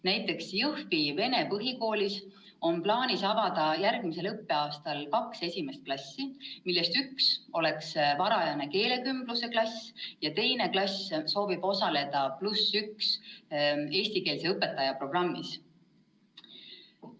Näiteks Jõhvi Vene Põhikoolis on plaanis avada järgmisel õppeaastal kaks esimest klassi, millest üks on varajane keelekümbluse klass ja teine klass osaleb eestikeelse õpetaja programmis "+1 õpetaja".